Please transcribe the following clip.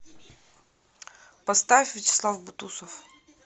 поставь вячеслав бутусов